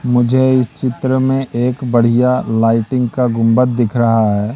मुझे इस चित्र में एक बढ़िया लाइटिंग का गुंबद दिख रहा है।